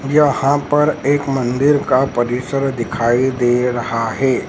यहां पर एक मंदिर का परिसर दिखाई दे रहा है।